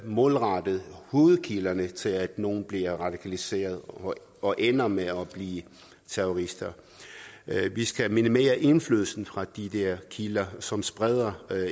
målrettes hovedkilderne til at nogle bliver radikaliseret og ender med at blive terrorister vi skal minimere indflydelsen fra de der kilder som spreder